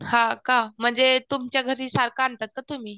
हां का म्हणजे तुमच्याघरी सारखं आणतात का तुम्ही?